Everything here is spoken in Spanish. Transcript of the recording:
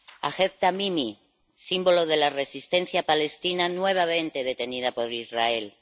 Ahed Tamimi, símbolo de la resistencia palestina, nuevamente detenida por Israel